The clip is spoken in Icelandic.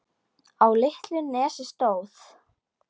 Á litlu nesi stóð